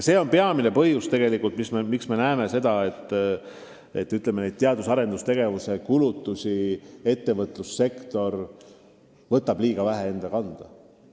See on peamine põhjus, miks me näeme seda, et ettevõtlus võtab liiga vähe teadus- ja arendustegevuse kulutusi enda kanda.